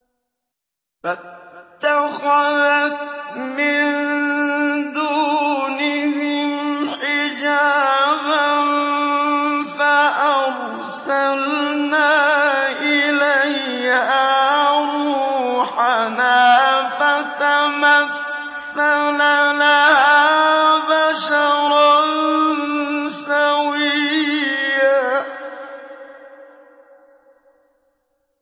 فَاتَّخَذَتْ مِن دُونِهِمْ حِجَابًا فَأَرْسَلْنَا إِلَيْهَا رُوحَنَا فَتَمَثَّلَ لَهَا بَشَرًا سَوِيًّا